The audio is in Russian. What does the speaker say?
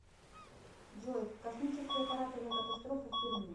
джой космический аппарат авиакатастрофа в перми